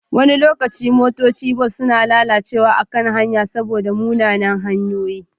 Wasu lokuta motocin bas na lalacewa a kan hanya saboda munanan hanyoyi